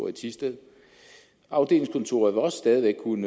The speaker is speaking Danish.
i thisted afdelingskontoret vil også stadig væk kunne